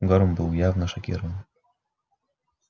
горм был явно шокирован